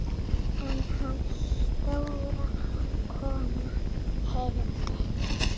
En konan hans Dóra heyrði.